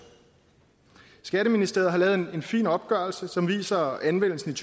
skatteministeriet har lavet en fin opgørelse som viser anvendelsen i